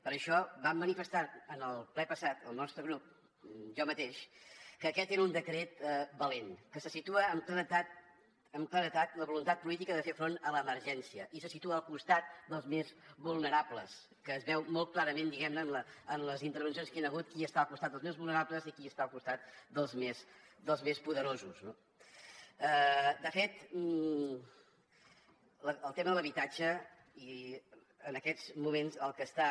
per això vam manifestar en el ple passat el nostre grup jo mateix que aquest era un decret valent que situa amb claredat la voluntat política de fer front a l’emergència i se situa al costat dels més vulnerables que es veu molt clarament diguem ne en les intervencions que hi han hagut qui està al costat dels més vulnerables i qui està al costat dels més poderosos no de fet el tema de l’habitatge en aquests moments el que està